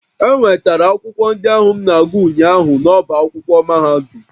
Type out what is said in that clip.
E nwetara akwụkwọ ndị ahụ m na-agụ ụnyaahụ n'ọ́bá akwụkwọ mahadum